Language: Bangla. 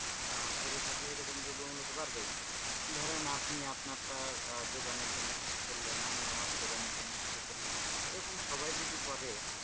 আহ করে থাকলে এরকম দ্রব্যমূল্য বাড়বেই ধরেন আপনি আপনারা যোগানোর জন্য কিছু করলেন আমি আমার জোগানোর জন্য কিছু করলাম, এরকম সবাই যদি করে।